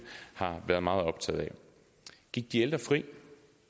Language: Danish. har været meget optaget af gik de ældre fri